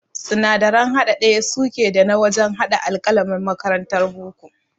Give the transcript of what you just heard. Sinadaran haɗa ɗaya suke da na wajan haɗa alƙalamin makarantar boko